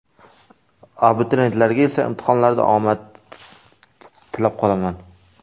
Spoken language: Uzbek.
Abituriyentlarga esa imtihonlarda omad tilab qolaman!